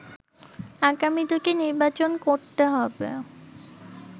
আগামী দু’টি নির্বাচন করতে হবে